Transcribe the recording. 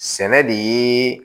Sɛnɛ de ye